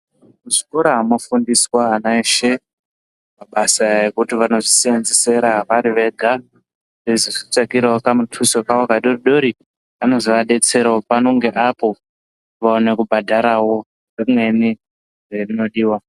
Muzvikora munofundiswa ana eshe mabasa ekuti vanosise kunzesera vari vega vechizozvitsvakirawo kamutuso kavo kadoodori kanozovadetserawo pano ngeapo vowana kubhadharawo zvimweni zvinodiwa.